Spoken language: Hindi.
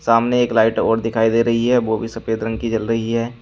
अमने एक लाइट और दिखाई दे रही है वो भी सफेद रंग की जल रही है।